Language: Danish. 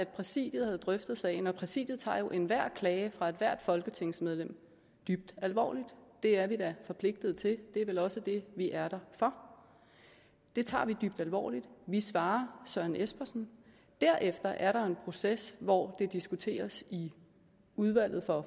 præsidiet drøftede sagen og præsidiet tager jo enhver klage fra ethvert folketingsmedlem dybt alvorligt det er vi da forpligtet til og det er vel også det vi er der for vi tager det dybt alvorligt vi svarer søren espersen og derefter er der en proces hvor det diskuteres i udvalget for